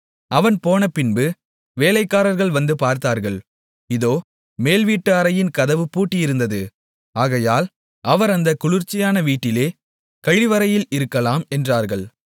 அவன் போனபின்பு வேலைக்காரர்கள் வந்து பார்த்தார்கள் இதோ மேல் வீட்டு அறையின் கதவு பூட்டியிருந்தது ஆகையால் அவர் அந்தக் குளிர்ச்சியான வீட்டிலே கழிவறையில் இருக்கலாம் என்றார்கள்